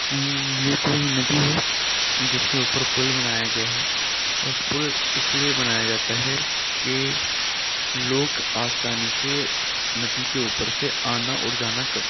अ ये कोई नदी है। जिसके ऊपर पुल बनाया गया है। और पुल इसलिए बनाया जाता है की लोग आसानी से नदी के ऊपर से आना और जाना कर सके।